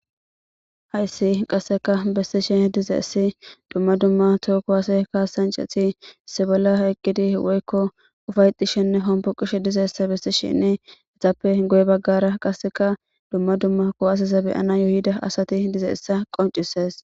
hayssi qasseka bessishe dizeessi dumma dumma too kuwaase kasanceti issi bolla eqqidi woykko ufaytishenne hombo qishe dizeessa bessi shinni etappe goye baggara qasseka dumma dumma kowas zabeyana yuyida asati dizeessa qoncises